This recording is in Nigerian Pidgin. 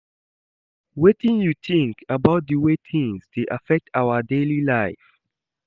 Wetin you think about di way tings dey affect our daily life?